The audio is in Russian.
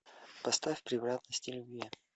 поставь превратности любви